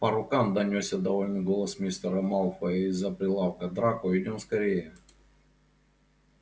по рукам донёсся довольный голос мистера малфоя из-за прилавка драко идём скорее